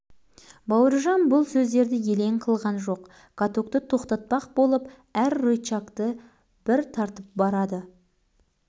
нағыз механизатор де бұл экскаватор айдауды да білер тегі талғат қорқақтың өзі екен талғат жылдамдығын тоқтатқан